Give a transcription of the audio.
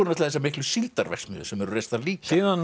þessar miklu síldarverksmiðjur sem eru reistar líka síðan